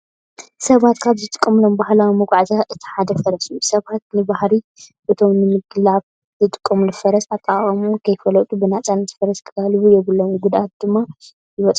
ሰባት ካብ ዝጥቀምሎም ባህላዊ መጓዓዝያታት እቲ ሓደ ፈረስ እዩ። ሰባት ንባህሪ እቶም ንምግላብ ዝጥቀምሉ ፈረስን ኣጠቃቅምኡን ከይፈለጡ ብነፃነት ፈረስ ክጋልቡ የብሉምን ጉድኣት ድማ ይበፅኦም።